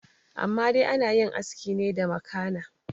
amma dai ana yin aski ne da makana